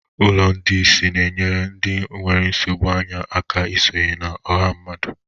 Ụlọ ndị ìsì na-enyere ndị nwere nsogbu anya aka isonye na ọha mmadụ.